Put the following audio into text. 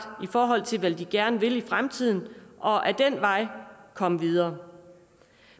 i forhold til hvad de gerne vil i fremtiden og ad den vej komme videre